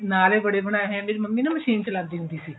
ਬੜੇ ਬਣਾਏ ਹੈ ਮੇਰੀ ਮੰਮੀ ਨਾ ਮਸ਼ੀਨ ਚਲਾਉਂਦੀ ਹੁੰਦੀ ਸੀ